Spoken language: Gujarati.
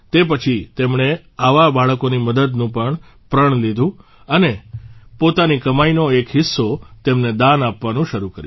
તે પછી તેમણે આવા બાળકોની મદદનું પ્રણ લીધું અને પોતાની કમાઇનો એક હિસ્સો તેમને દાન આપવાનું શરૂ કર્યું